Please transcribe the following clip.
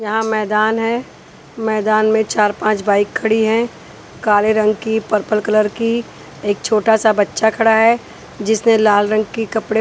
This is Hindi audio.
यहाँ मैदान है मैदान में चार पाँच बाइक खड़ी हैं काले रंग की पर्पल कलर की एक छोटा सा बच्चा खड़ा है जिसने लाल रंग की कपड़े --